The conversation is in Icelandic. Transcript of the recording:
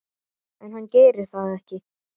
En hann gerir það ekki.